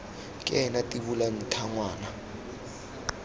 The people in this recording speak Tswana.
ke ena tibola ntha ngwana